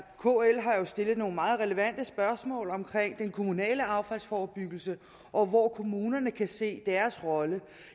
kl har jo stillet nogle meget relevante spørgsmål om den kommunale affaldsforebyggelse og om hvor kommunerne kan se deres rolle